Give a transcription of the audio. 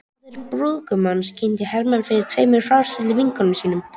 Móðir brúðgumans kynnti Hermann fyrir tveimur fráskildum vinkonum sínum.